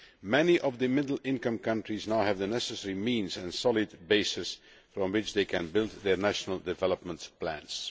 Many of the middle income countries now have the necessary means and solid bases from which they can build their national development plans.